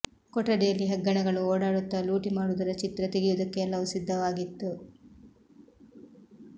ಕೊಠಡಿಯಲ್ಲಿ ಹೆಗ್ಗಣಗಳು ಓಡಾಡುತ್ತ ಲೂಟಿ ಮಾಡುವುದರ ಚಿತ್ರ ತೆಗೆಯುವುದಕ್ಕೆ ಎಲ್ಲವೂ ಸಿದ್ಧವಾಗಿತ್ತು